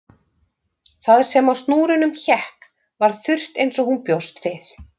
Það sem á snúrunum hékk var þurrt eins og hún bjóst við